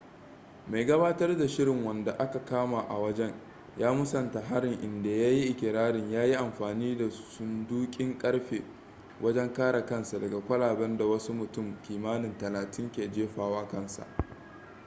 mai gabatar da labarai/shirin wanda aka kama a wajen ya musanta harin inda ya yi ikirarin ya yi amfani da sundukin karfe wajen kare kansa daga kwalaben da wasu mutum kimanin talatin ke jefawa kansa